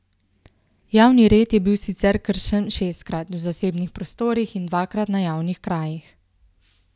Javni red je bil sicer kršen šestkrat v zasebnih prostorih in dvakrat na javnih krajih.